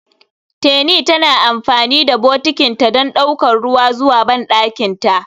Teni tana amfani da bokitinta don ɗaukar ruwa zuwa bandakinta.